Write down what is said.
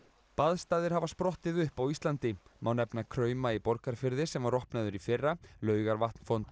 baðstaðir hafa sprottið upp á Íslandi má nefna krauma í Borgarfirði sem var opnaður í fyrra Laugarvatn fontana